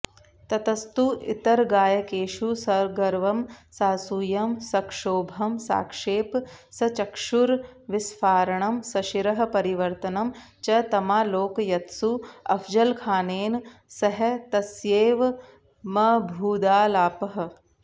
ततस्तु इतरगायकेषु सगर्वं सासूयं सक्षोभं साक्षेप सचक्षुर्विस्फारणं सशिरःपरिवर्तनं च तमालोकयत्सु अफजलखानेन सह तस्यैवमभूदालापः